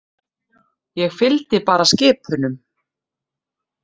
Ég fylgdi bara skip unum.